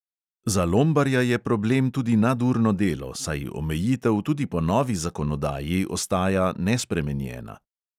Za lombarja je problem tudi nadurno delo, saj omejitev tudi po novi zakonodaji ostaja nespremenjena.